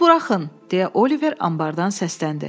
Məni buraxın, deyə Oliver anbardan səsləndi.